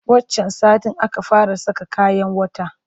Wancan satin aka fara saka kayan wata